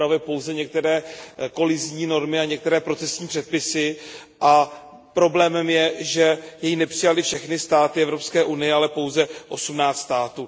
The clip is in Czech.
Upravuje pouze některé kolizní normy a některé procesní předpisy a problémem je, že jej nepřijaly všechny státy Evropské unie, ale pouze osmnáct států.